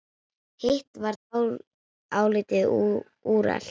Hitt var álitið úrelt.